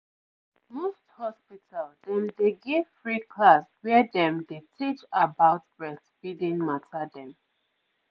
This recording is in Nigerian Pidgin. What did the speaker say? most hospital dem dey give free class where dem dey teach about breastfeeding mata dem